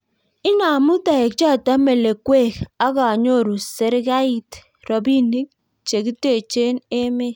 Inamu toek choto melekwek akonyoru serikait robinik che kitechee emet